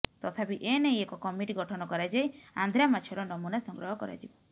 ତଥାପି ଏ ନେଇ ଏକ କମିଟି ଗଠନ କରାଯାଇ ଆନ୍ଧ୍ରା ମାଛର ନମୂନା ସଂଗ୍ରହ କରାଯିବ